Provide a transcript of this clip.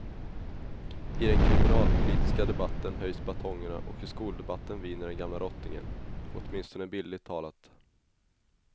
I den kriminalpolitiska debatten höjs batongerna och i skoldebatten viner den gamla rottingen, åtminstone bildligt talat.